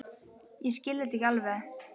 Ég skil þetta ekki alveg.